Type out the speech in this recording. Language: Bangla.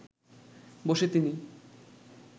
বসে তিনি